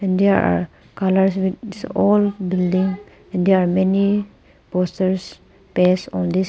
There are colours with all buildings. There are many posters paste on this --